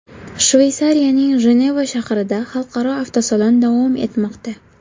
Shveysariyaning Jeneva shahrida xalqaro avtosalon davom etmoqda.